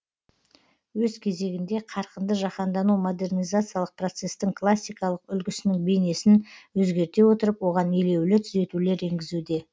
өз кезегінде қарқынды жаһандану модернизациялық процестің классикалық үлгісінің бейнесін әзгерте отырып оған елеулі түзетулер енгізуде